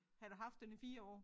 Han har haft den i 4 år